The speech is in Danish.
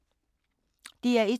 DR1